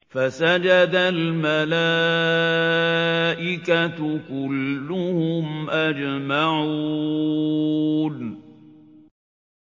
فَسَجَدَ الْمَلَائِكَةُ كُلُّهُمْ أَجْمَعُونَ